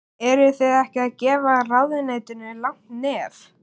Eruð þið ekki að gefa ráðuneytinu langt nef?